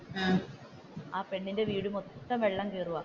ആ പെണ്ണിന്റെ വീട് മൊത്തവും വെള്ളം കയറുവാണ്.